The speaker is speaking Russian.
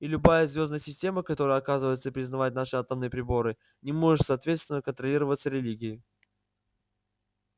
и любая звёздная система которая отказывается признавать наши атомные приборы не может соответственно контролироваться религией